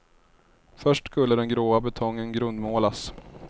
Först skulle den gråa betongen grundmålas.